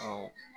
Ɔ